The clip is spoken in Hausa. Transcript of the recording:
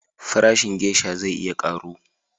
Farashin gesha zai iya karu